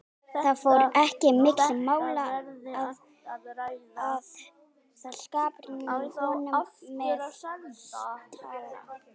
Það fór ekki á milli mála að ég skapraunaði honum með þessu tali.